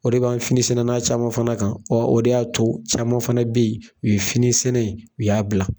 O de b'an finisɛnɛna caman fana kan, o de y'a to caman fana be yen u ye fini sɛnɛ in ye u y'a bila.